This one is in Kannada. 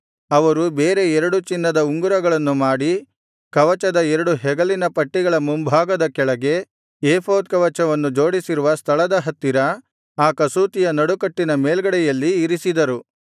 ಅವರು ಬೇರೆ ಎರಡು ಚಿನ್ನದ ಉಂಗುರಗಳನ್ನು ಮಾಡಿ ಕವಚದ ಎರಡು ಹೆಗಲಿನ ಪಟ್ಟಿಗಳ ಮುಂಭಾಗದ ಕೆಳಗೆ ಏಫೋದ್ ಕವಚವನ್ನು ಜೋಡಿಸಿರುವ ಸ್ಥಳದ ಹತ್ತಿರ ಆ ಕಸೂತಿಯ ನಡುಕಟ್ಟಿನ ಮೇಲ್ಗಡೆಯಲ್ಲಿ ಇರಿಸಿದರು